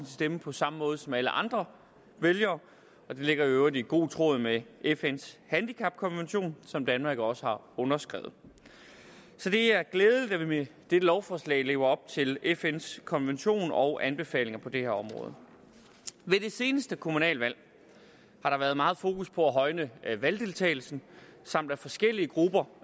stemme på samme måde som alle andre vælgere og det ligger i øvrigt i god tråd med fns handicapkonvention som danmark jo også har underskrevet så det er glædeligt at vi med dette lovforslag lever op til fns konvention og anbefalinger på det her område ved det seneste kommunalvalg har der været meget fokus på at højne valgdeltagelsen samt at forskellige grupper